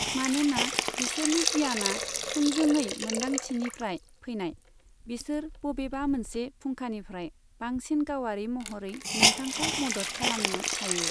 मानोना बिसोरनि गियाना थोंजोङै मोन्दांथिनिफ्राय फैनाय, बिसोर बबेबा मोनसे फुंखानिफ्राय बांसिन गावारि महरै नोंथांखौ मदद खालामनो हायो।